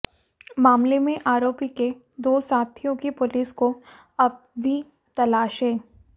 मामले में आरोपी के दो साथियों की पुलिस को अब भी तलाश है